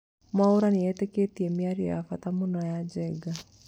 Mwaura nĩetekerĩte mĩario ya bata mũno na Njenga